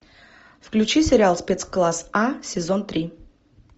включи сериал спецкласс а сезон три